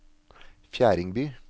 Fjerdingby